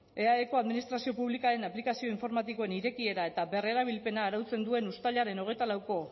eaeko administrazio publikoaren aplikazio informatikoen irekiera eta berrerabilpena arautzen duen uztailaren hogeita lauko